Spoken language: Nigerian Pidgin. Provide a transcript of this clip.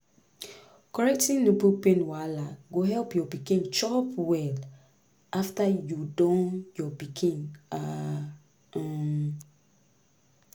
correcting nipple pain wahala go help your pikin chop well after you don your pikin ah um